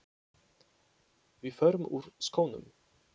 Við förum úr skónum.